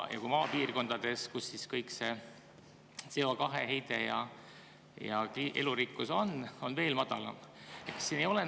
Maapiirkondades, kust kõik see CO2 heide ja elurikkus, on see veel madalam.